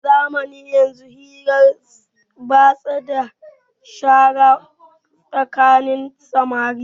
A zamanin yanzu hirar batsa ya shara tsakanin samari